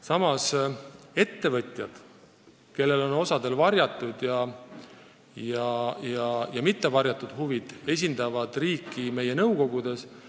Samas ettevõtjad, kellel on omad varjatud ja mittevarjatud huvid, esindavad riiki meie nõukogudes.